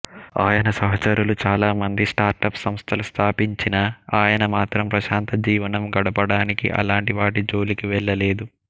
ఆయన సహచరులు చాలామంది స్టార్టప్ సంస్థలు స్థాపించినా ఆయన మాత్రం ప్రశాంత జీవనం గడపడానికి అలాంటి వాటి జోలికి వెళ్ళలేదు